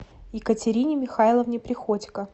екатерине михайловне приходько